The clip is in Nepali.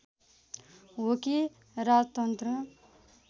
हो कि राजतन्त्र